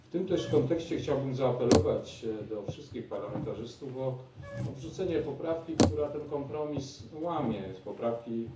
W tym też kontekście chciałbym zaapelować do wszystkich parlamentarzystów o odrzucenie poprawki, która ten kompromis łamie, poprawki